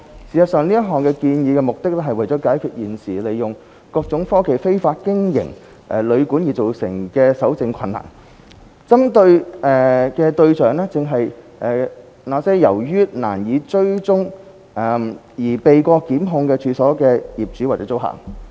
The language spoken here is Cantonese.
事實上，這項建議的目的，是為了解決現時利用各種科技非法經營旅館而造成的搜證困難，針對的對象正是那些由於難以追蹤而避過檢控的處所業主或租客。